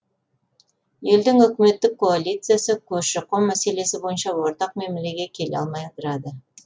елдің үкіметтік коалициясы көші қон мәселесі бойынша ортақ мәмілеге келе алмай ыдырады